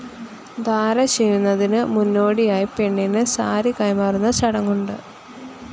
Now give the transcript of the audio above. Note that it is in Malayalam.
ധാര ചെയ്യുന്നതിന് മുന്നോടിയായി പെണ്ണിന് സാരി കൈമാറുന്ന ചടങ്ങുണ്ട്.